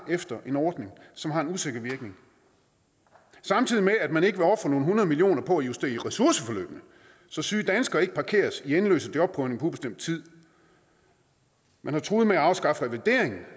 efter en ordning som har en usikker virkning samtidig med at man ikke vil ofre nogle hundrede millioner kroner på at justere ressourceforløbene så syge danskere ikke parkeres i endeløse job på ubestemt tid man har truet med at afskaffe revalideringen